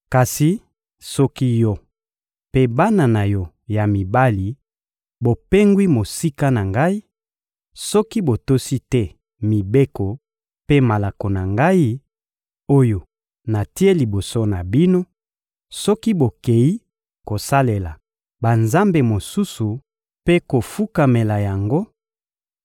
Kasi soki yo mpe bana na yo ya mibali bopengwi mosika na Ngai; soki botosi te mibeko mpe malako na Ngai, oyo natie liboso na bino; soki bokeyi kosalela banzambe mosusu mpe kofukamela yango,